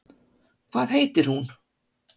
Hvað heitir hún?